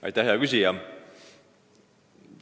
Aitäh, hea küsija!